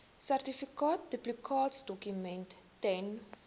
sertifikaat duplikaatdokument ten